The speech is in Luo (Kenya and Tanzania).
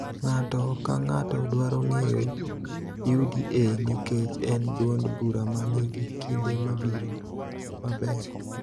Ng�ato ka ng�ato dwaro ng�eyo UDA nikech en duond bura ma nigi kinde mabiro maber.